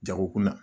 Jagokun na